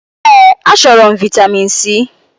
Èé, achọrọ m vị́tamin C.